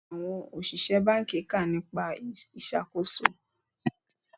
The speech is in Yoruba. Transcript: Ọ̀pọ̀lọpọ̀ àwọn òṣìṣẹ́ báńkì kà nípa ìṣàkóso.